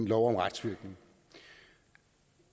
lov om retsvirkning